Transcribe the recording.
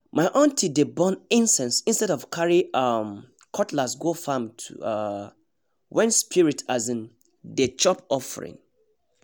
my aunty dey burn incense instead of carry um cutlass go farm um when spirit um dey chop offering